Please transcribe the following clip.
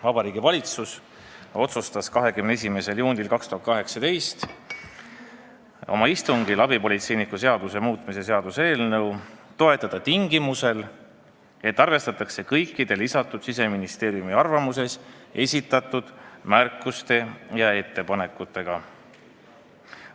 Vabariigi Valitsus otsustas 21. juunil 2018 oma istungil abipolitseiniku seaduse muutmise seaduse eelnõu toetada tingimusel, et arvestatakse kõiki Siseministeeriumi arvamuses esitatud märkusi ja ettepanekuid.